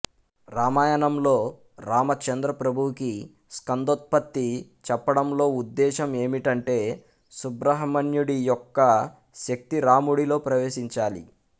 రామాయణంలో రామచంద్రప్రభువుకి స్కందోత్పత్తి చెప్పడంలోఉద్దేశం ఏమిటంటే సుబ్రహ్మణ్యుడి యొక్క శక్తి రాముడిలో ప్రవేశించాలి